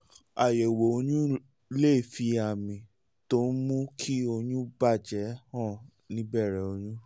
àyẹ̀wò oyún lè fi àmì tó ń mú kí oyún bà jẹ́ hàn ní ìbẹ̀rẹ̀ oyún